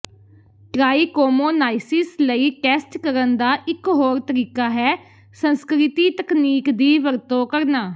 trichomoniasis ਲਈ test ਕਰਨ ਦਾ ਇਕ ਹੋਰ ਤਰੀਕਾ ਹੈ ਸੰਸਕ੍ਰਿਤੀ ਤਕਨੀਕ ਦੀ ਵਰਤੋਂ ਕਰਨਾ